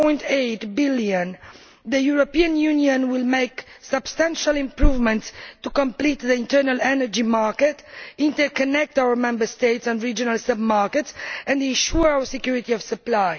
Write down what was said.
5.8 billion, the European Union will make substantial improvements in order to complete the internal energy market, interconnect our Member States' and regional submarkets and ensure security of supply.